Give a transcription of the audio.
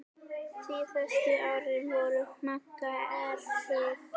Síðustu árin voru Magga erfið.